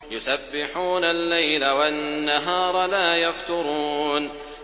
يُسَبِّحُونَ اللَّيْلَ وَالنَّهَارَ لَا يَفْتُرُونَ